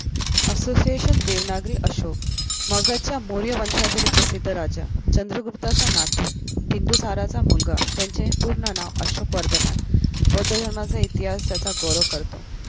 Association Devanagari Ashok मगधच्या मौर्य वंशातील प्रसिद्ध राजा चंद्रगुप्ताचा नातू बिन्दुसाराचा मुलगा त्यांचे पूर्ण नाव अशोक वर्धमान बौद्ध धर्माचा इतिहास त्याचा गौरव करतो.